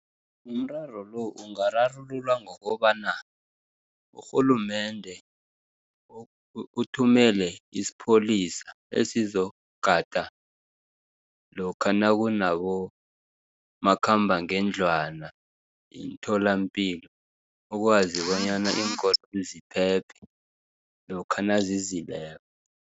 Umraro lo, ungararululwa ngokobana, urhulumende uthumele isipholisa, esizokugada lokha nakunabomakhambangendlwana, imitholampilo ukwazi bonyana iinkoloyi ziphephe, lokha nazizileko.